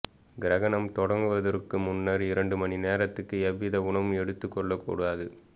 கிரகணம் தொடங்குவதற்கு முன்னர் இரண்டு மணிநேரத்துக்கு எவ்வித உணவும் எடுத்துக் கொள்ளக்கூடாது